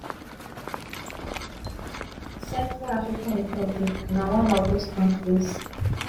central african republic na one of those kontris